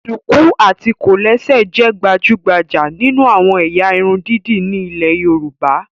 Ṣùkú àti kòlẹ́sẹ̀ jẹ́ gbajúgbajà nínú àwọn ẹ̀yà irun dídì ní ilé Yorùbá